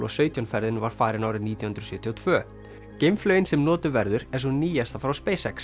sautján ferðin var farin árið nítján hundruð sjötíu og tvö geimflaugin sem notuð verður er sú nýjasta frá